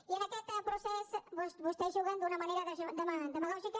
i en aquest procés vostès juguen d’una manera demagògica